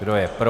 Kdo je pro?